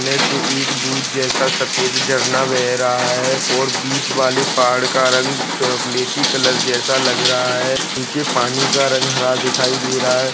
नेसे एक दूध जैसा सफ़ेद झरना बैह रहा है और बीच वाले पहाड़ का रंग चाॅकलेटी कलर जैसा लग रहा है नीचे पानी का रंग हरा दिखाई दे रहा है।